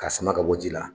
K'a sama ka bɔ ji la